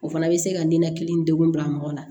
O fana bɛ se ka ninakili degun bila mɔgɔ la